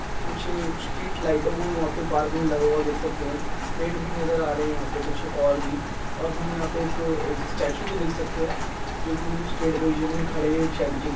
कुछ स्ट्रीट लाइटों को वहाँं पे पार्क में लगा हुआ देख सकते हैं। पेड़ भी नज़र आ रहे है यहाँं पे कुछ और भी और हम यहाँं पे एक स्टेचू को देख सकते है जो कि बिलकुल स्ट्रेट पोजीशन में खड़े हैं एक शेड के --